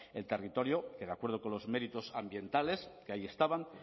el territorio que de acuerdo con los méritos ambientales que ahí estaban